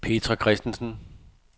Petra Christensen